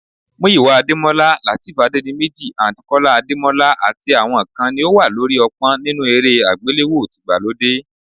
Muyiwa Adémọ́lá, Lateef Adédiméjì and Kọ́lá Adékọ́lá àti àwọn kan ni ó wà lórí ọ̀pọ́n nínú eré àgbéléwò tìgbàlódé